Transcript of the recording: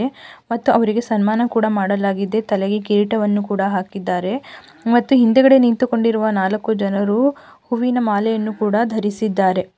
ಮತ್ತು ಅವರಿಗೆ ಸನ್ಮಾನ ಕೂಡ ಮಾಡಲಾಗಿದೆ ತಲೆಗೆ ಕಿರೀಟವನ್ನು ಕೂಡ ಹಾಕಿದ್ದಾರೆ ಮತ್ತು ಹಿಂದೆಗಡೆ ನಿಂತುಕೊಂಡು ಇರುವ ನಾಲ್ಕು ಜನರು ಹೂವಿನ ಮಾಲೆಯನ್ನು ಕೂಡ ಧರಿಸಿದ್ದಾರೆ.